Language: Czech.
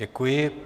Děkuji.